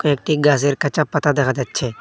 একটি গাসের কাঁচা পাতা দেখা যাচ্ছে।